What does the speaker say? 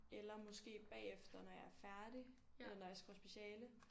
Eller måske bagefter når jeg er færdig eller når jeg skriver speciale